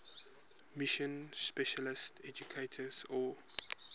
mission specialist educators or